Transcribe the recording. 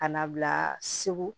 Ka na bila segu